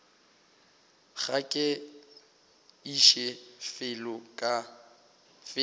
ga ke iše felo ka